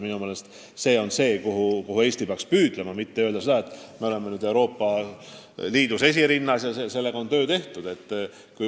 Minu meelest peaks Eesti ka selle poole püüdlema, mitte arvama, et me oleme nüüd Euroopa Liidus esirinnas ja sellega on töö tehtud.